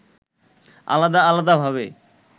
আলাদা আলাদা ভাবে